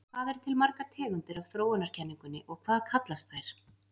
Hvað eru til margar tegundir af þróunarkenningunni og hvað kallast þær?